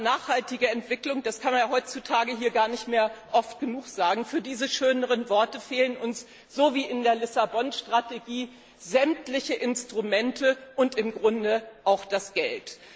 Worte nachhaltige Entwicklung, das kann man ja heutzutage hier gar nicht mehr oft genug sagen fehlen uns so wie in der Lissabon Strategie sämtliche Instrumente und im Grunde auch das